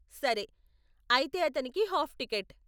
సరే, అయితే అతనికి హాఫ్ టికెట్.